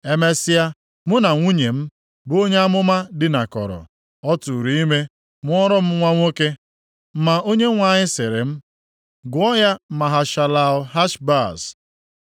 Emesịa, mụ na nwunye m, bụ onye amụma dinakọrọ, ọ tụụrụ ime, mụọrọ m nwa nwoke. Ma Onyenwe anyị sịrị m, “Gụọ ya Maha-shalal-Hash-Baz.